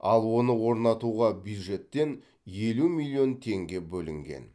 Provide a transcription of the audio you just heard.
ал оны орнатуға бюджеттен елу миллион теңге бөлінген